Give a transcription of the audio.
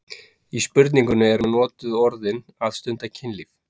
Í spurningunni eru notuð orðin að stunda kynlíf